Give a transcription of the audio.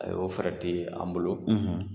Ayi o fɛɛrɛ te an bolo,